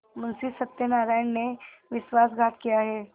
मुंशी सत्यनारायण ने विश्वासघात किया है